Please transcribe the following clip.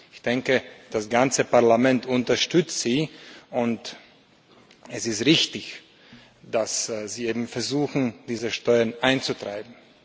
Ich denke, das ganze Parlament unterstützt Sie, und es ist richtig, dass Sie eben versuchen, diese Steuern einzutreiben.